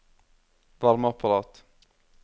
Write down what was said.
varmeapparat